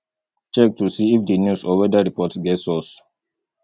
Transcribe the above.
check to see if di news or weather report get source